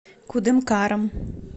кудымкаром